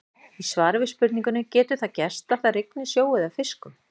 Í svari við spurningunni Getur það gerst að það rigni sjó eða fiskum?